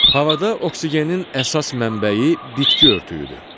Havada oksigenin əsas mənbəyi bitki örtüyüdür.